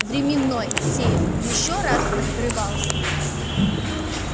временной сейф ещё раз открывался